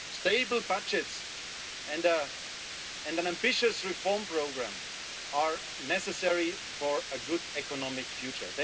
Stable budgets and an ambitious reform programme are necessary for a good economic future.